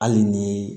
Hali ni